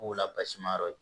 Kow la basi ma yɔrɔ ye